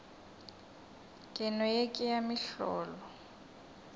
keno ye ke ya mohlolo